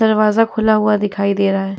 दरवाजा खुला हुआ दिखाई दे रहा है।